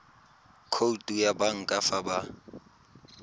khoutu ya banka fa ba